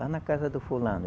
Lá na casa do fulano.